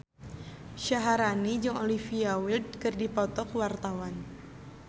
Syaharani jeung Olivia Wilde keur dipoto ku wartawan